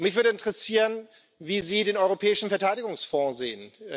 Mich würde interessieren, wie Sie den Europäischen Verteidigungsfonds sehen.